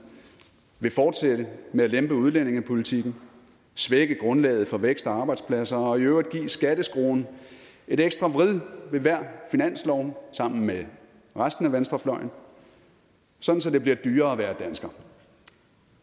vil fortsætte med at lempe udlændingepolitikken svække grundlaget for vækst og arbejdspladser og i øvrigt give skatteskruen et ekstra vrid ved hver finanslov sammen med resten af venstrefløjen sådan så det bliver dyrere at være dansker